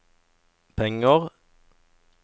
penger